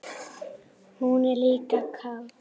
Hún er líka kát.